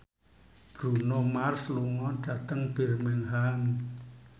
Bruno Mars lunga dhateng Birmingham